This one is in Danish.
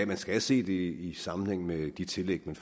man skal se det i sammenhæng med de tillæg man